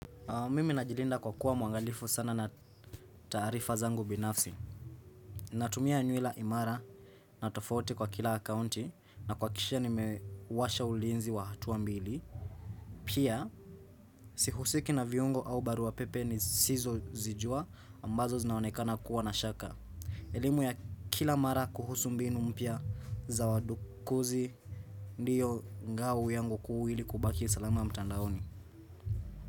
Mimi najilinda kwa kuwa mwangalifu sana na taarifa zangu binafsi. Natumia nyuela imara na tofauti kwa kila akounti na kuhakikisha nimewasha ulinzi wa hatuwa mbili. Pia, sihusiki na viungo au baru wa pepe nisizozijua ambazo zinaonekana kuwa na shaka. Elimu ya kila mara kuhusu mbinu mpya za wadukuzi, ndiyo ngau yangu kuu ili kubaki salamu mtandaoni.